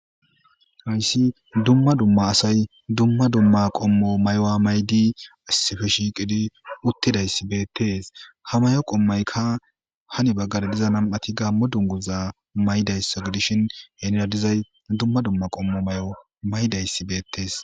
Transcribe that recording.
Hayssi dumma dumma asay dumma dumma qommo may7o maydi asefe shiiqidi uttidayssi beettees ha mayo qommaykka hani baggada diza nam7ati gammo dunguza maydayssa gidishin henradizay dumma dumma qommo may7o maydayssi beettees.